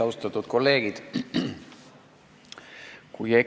Austatud kolleegid!